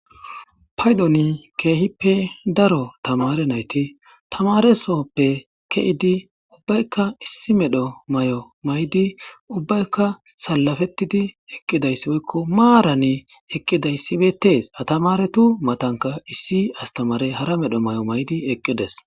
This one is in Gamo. paydoni ke'hippe daro tamare nayti tamaresoppe ke'idi ubbaykka issi meedhdho may'o may'idi ubbaykka salafettidi eqqidayssi boykko maarani eqqidayssi bettees ha tamaretu matankka issi astamare hara meedhdho may'o may'idi eqqidees